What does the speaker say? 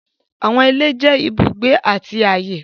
Àwọn ìlẹ̀ jẹ́ ìbùgbé àti ayé.